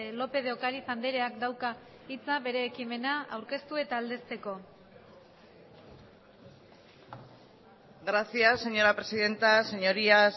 lópez de ocariz andreak dauka hitza bere ekimena aurkeztu eta aldezteko gracias señora presidenta señorías